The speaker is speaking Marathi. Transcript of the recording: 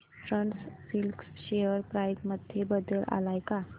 ईस्टर्न सिल्क शेअर प्राइस मध्ये बदल आलाय का